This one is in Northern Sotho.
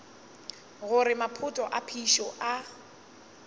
gore maphoto a phišo a